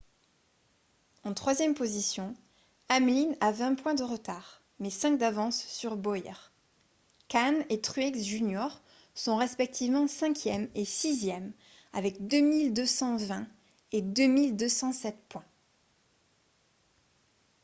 en troisième position hamlin a vingt points de retard mais cinq d'avance sur bowyer kahne et truex jr sont respectivement cinquième et sixième avec 2 220 et 2 207 points